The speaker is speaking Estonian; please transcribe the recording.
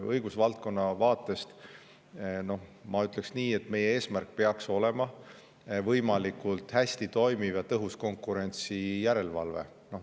Õigusvaldkonna vaatest ma ütleksin nii, et meie eesmärk peaks olema võimalikult hästi toimiv ja tõhus konkurentsijärelevalve.